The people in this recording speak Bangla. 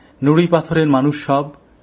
নুড়িপাথরের মানুষ সব